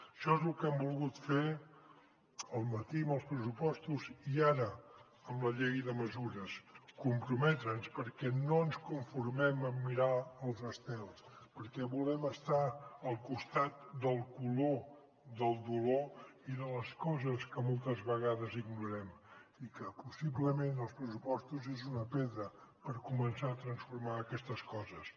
això és lo que hem volgut fer al matí amb els pressupostos i ara amb la llei de mesures comprometre’ns perquè no ens conformem amb mirar els estels perquè volem estar al costat del color del dolor i de les coses que moltes vegades ignorem i que possiblement els pressupostos són una pedra per començar a transformar aquestes coses